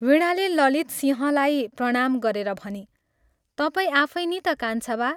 वीणाले ललितसिंहलाई प्रणाम गरेर भनी, "तपाईं आफै नि ता कान्छा बा?